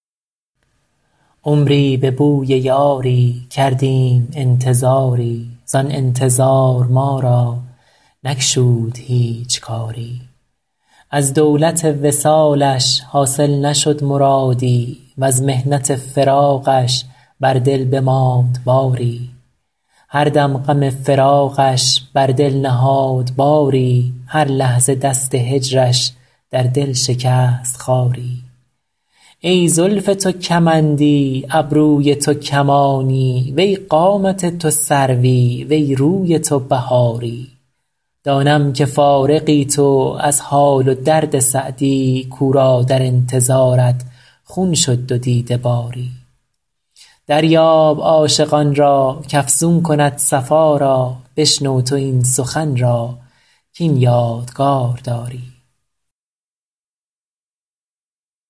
عمری به بوی یاری کردیم انتظاری زآن انتظار ما را نگشود هیچ کاری از دولت وصالش حاصل نشد مرادی وز محنت فراقش بر دل بماند باری هر دم غم فراقش بر دل نهاد باری هر لحظه دست هجرش در دل شکست خاری ای زلف تو کمندی ابروی تو کمانی وی قامت تو سروی وی روی تو بهاری دانم که فارغی تو از حال و درد سعدی کاو را در انتظارت خون شد دو دیده باری دریاب عاشقان را کافزون کند صفا را بشنو تو این سخن را کاین یادگار داری